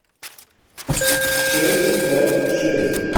шесть пять шесть